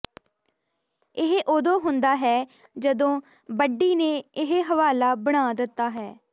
ਇਹ ਉਦੋਂ ਹੁੰਦਾ ਹੈ ਜਦੋਂ ਬੱਡੀ ਨੇ ਇਹ ਹਵਾਲਾ ਬਣਾ ਦਿੱਤਾ ਹੈ